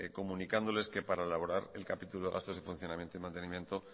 comunicándoles que para elaborar el capítulo gastos y funcionamiento y mantenimiento